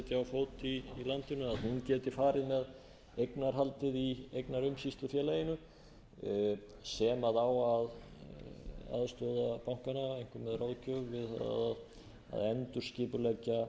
fót í landinu geti farið með eignarhaldið í eignaumsýslufélaginu sem á að aðstoða bankana einkum með ráðgjöf við